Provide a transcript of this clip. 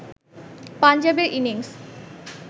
পাঞ্জাবের ইনিংস